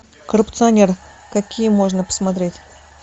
коррупционер какие можно посмотреть